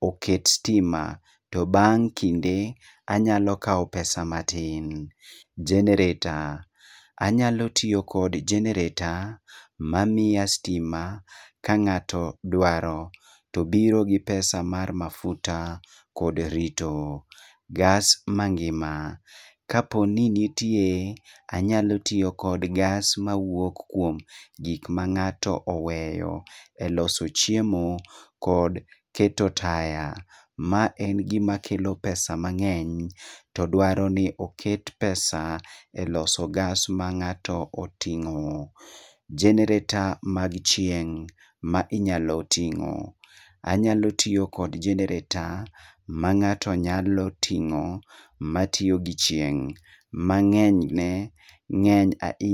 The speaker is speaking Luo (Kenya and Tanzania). oket stima to bang' kinde anyalo kao pesa matin. Generator, anyalo tio kod generator mamia stima ka ng'ato dwaro to obiro gi pesa mar mafuta kod rito. Gas mangima, kaponi nitie anyalo tio kod gas mawuok kwom gik mang'ato oweyo e loso chiemo kod keto taya. Ma en gima kelo pesa mang'eny to dwaro ni oket pesa e loso gas ma ng'ato oting'o. Generator mag chieng' ma inyalo ting'o. Anyalo tio kod generator ma ng'ato nyalo ting'o matio gi chieng' mang'eny ne ng'eny ainy..